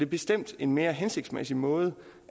bestemt en mere hensigtsmæssig måde